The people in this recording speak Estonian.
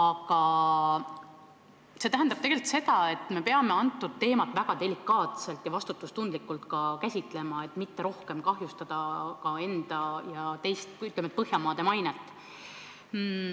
Toimunu tähendab tegelikult seda, et me peame kogu teemat väga delikaatselt ja vastutustundlikult käsitlema, et mitte veelgi rohkem kahjustada enda ja Põhjamaade mainet.